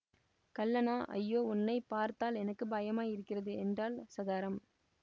கள்ளனா ஐயோ உன்னை பார்த்தால் எனக்கு பயமாயிருக்கிறது என்றாள் சதாரம்